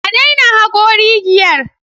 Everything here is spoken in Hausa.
A daina hako rigiyar!